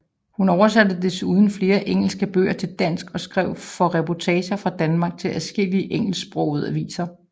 Hun oversatte desuden flere engelske bøger til dansk og skrev for reportager fra Danmark til adskillige engelsksprogede aviser